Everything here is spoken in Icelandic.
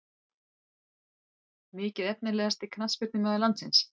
Mikið Efnilegasti knattspyrnumaður landsins?